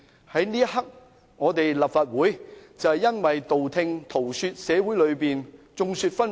在這一刻，立法會只是道聽塗說，而社會上亦眾說紛紜。